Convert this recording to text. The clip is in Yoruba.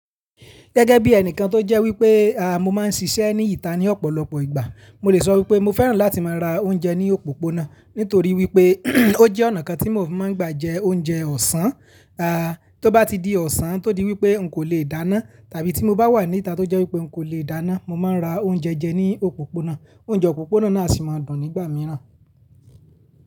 Gẹ́gẹ́ bí ẹnìkan tó jẹ́ wípé, à, mo máa ń ṣiṣẹ́ ní ìta ní ọ̀pọ̀lọpọ̀ ìgbà, mo lè sọ wípé mo fẹ́ràn láti máa ra oúnjẹ ní òpópónà. Nítorí wípé ó jẹ́ ọ̀nà kan tí mo fi máa ń gbà jẹ oúnjẹ ọ̀sán, a, tó bá ti di ọ̀sán tó di wípé n kò lè dáná tàbí tí mo bá wà ní ìta tó jẹ́ wípé n kò lè dáná, mo máa ń ra oúnjẹ jẹ ní òpópónà. Oúnjẹ òpópónà náà aa sì máa dùn nígbà mìíràn.